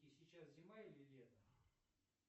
сейчас зима или лето